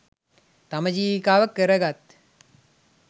තම ජීවිකාව කර ගත්